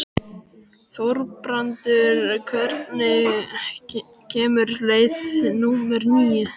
Þorbrandur, hvenær kemur leið númer níu?